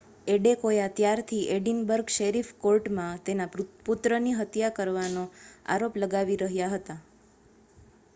Adekoya ત્યારથી Edinburgh sheriff કોર્ટમાં તેના પુત્રની હત્યા કરવાનો આરોપ લગાવી રહ્યા હતા